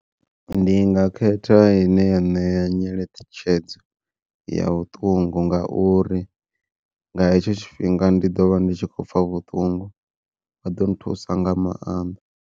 Ndi nga khetha ine ya ṋea nyeletshedzo ya vhuṱungu ngauri, nga hetsho tshifhinga ndi ḓovha ndi tshi khou pfha vhuṱungu vha ḓo nthusa nga maanḓa.